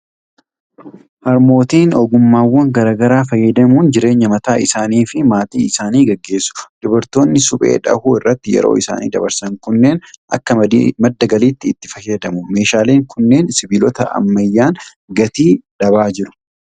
Harmootiin ogummaawwan garaa garaa fayyadamuun jireenya mataa isaanii fi maatii isaanii gaggeessu. Dubartoonni suphee dhahuu irratti yeroo isaanii dabarsan kunneen akka madda galiitti itti fayyadamu. Meeshaaleen kunneen sibiilota ammayyaan gatii dhabaa jira.